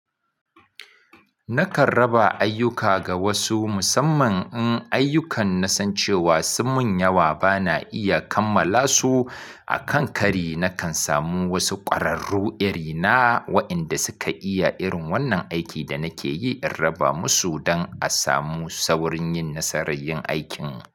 Nakan raba ayyuka ga wasu musamman in ayyukan na san cewa sun mun yawa ba na iya kammala su. A kan kari nakan samu wasu ƙwararru iri na waɗanda suka iya irin wannan aikin da nake yi, in raba musu don a samu saurin yin nasarar yin aikin.